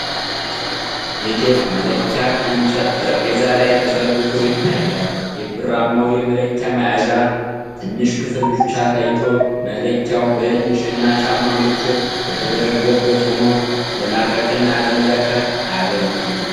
የቴፕ መለኪያ ከእንጨት ጠረጴዛ ላይ ተዘርግቶ ይታያል፤ የብርማው የመለኪያ መያዣ ትንሽ ክፍል ብቻ ታይቶ መለኪያው በኢንች እና ጫማ ምልክት የተደረገበት ሆኖ ለማርቀቅና ለመለካት አያገለግልም?